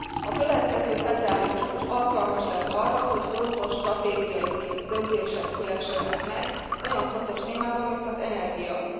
A következő, februári csúcs alkalmas lesz arra, hogy fontos stratégiai döntések szülessenek meg olyan fontos témában, mint az energia.